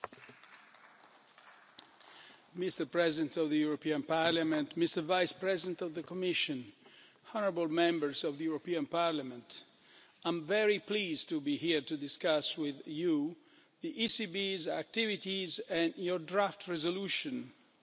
Mr President of the European Parliament, Mr Vice-President of the Commission, honourable Members of the European Parliament, I am very pleased to be here to discuss with you the ECB's activities and your draft resolution on the ECB's Annual Report